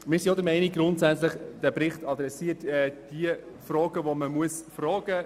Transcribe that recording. Wir sind grundsätzlich auch der Meinung, dass im Bericht die Fragen gestellt werden, die gestellt werden müssen;